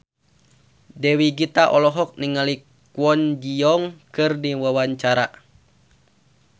Dewi Gita olohok ningali Kwon Ji Yong keur diwawancara